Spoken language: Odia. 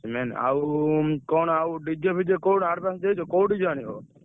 ଆଉ କଣ ଆଉ DJ ଫିଜେ କୋଉଠି advance ଦେଇଛ? କୋଉ DJ ଆଣିବ?